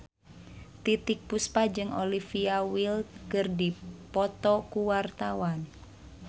Titiek Puspa jeung Olivia Wilde keur dipoto ku wartawan